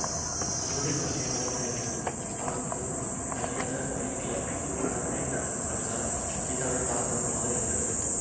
சுவரில் மாட்டிய படத்திலிருந்து அவர் திருமுகம் தனியாக வெளிக்கிளம்பிக் கருணை ததும்பும் கண்களால் சீதாவை பார்ப்பது போல இருந்தது